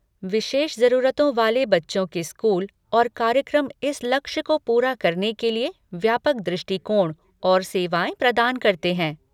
विशेष जरूरतों वाले बच्चों के स्कूल और कार्यक्रम इस लक्ष्य को पूरा करने के लिए व्यापक दृष्टिकोण और सेवाएँ प्रदान करते हैं।